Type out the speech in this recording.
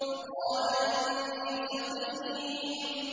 فَقَالَ إِنِّي سَقِيمٌ